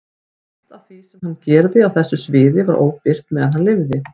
Flest af því sem hann gerði á þessu sviði var óbirt meðan hann lifði.